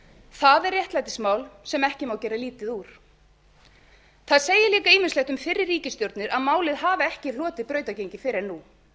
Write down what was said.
það er réttlætismál sem ekki má gera lítið úr það segir líka ýmislegt um fyrri ríkisstjórnir að málið hafi ekki hlotið brautargengi fyrr en nú